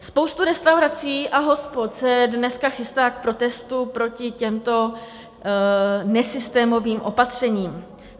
Spousta restaurací a hospod se dneska chystá k protestu proti těmto nesystémovým opatřením.